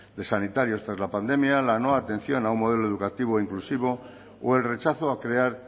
de sanitarios tras la pandemia la no atención a un modelo educativo inclusivo o el rechazo a crear